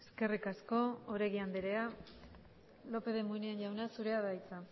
eskerrik asko oregi andrea lópez de munain jauna zurea da hitza